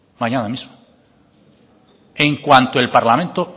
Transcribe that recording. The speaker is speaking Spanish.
mañana mismo en cuanto el parlamento